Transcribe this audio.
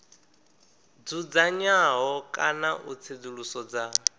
dzudzanywaho kana u tsedzuluso dza